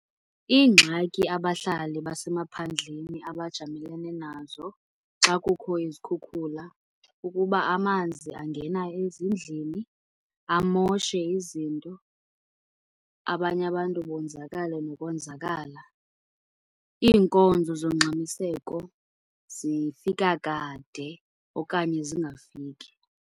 Ingxaki abahlali basemaphandleni abajamelene nazo xa kukho izikhukhula, kukuba amanzi angena ezindlini amoshe izinto. Abanye abantu bonzakale nokonzakala. Iinkonzo zongxamiseko zifika kade okanye zingafiki.